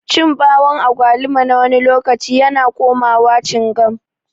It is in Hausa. Cin bawun agwaluma nawani lokaci yana komawa cingam.